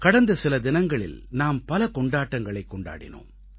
கடந்த சில தினங்களில் நாம் பல கொண்டாட்டங்களைக் கொண்டாடினோம்